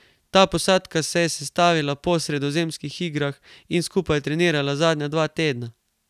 Ta posadka se je sestavila po sredozemskih igrah in skupaj trenirala zadnja dva tedna.